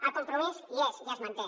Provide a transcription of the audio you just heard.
el compromís hi és i es manté